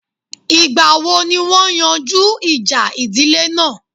Ìgbà wo ni wọ́n yanjú ìjà ìdílé náà?